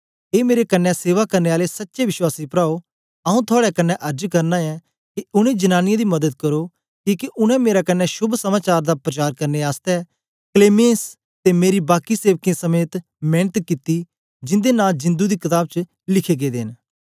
ए मेरे क्न्ने सेवा करने आले सच्चे विश्वासी प्राओ आऊँ तेरे कन्ने अर्ज करना ऐ के उनै जनांनीयें दी मदद करो किके उनै मेरे कन्ने शोभ समाचार दा प्रचार करने आसतै क्लेमेंस ते मेरे बाकी सेवकें समेत मेंनत कित्ती जिंदे नां जिंदु दी कताब च लिखे गेदे न